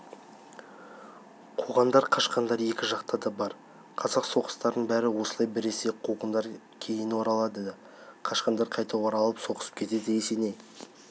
қуғандар қашқандар екі жақта да бар қазақ соғыстарының бәрі осылай біресе қуғандар кейін оралады да қашқандар қайта оралып соғысып кетеді есеней